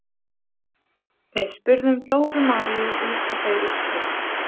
Við spurðum Dóru Maríu út í þau úrslit.